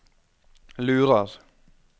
lurer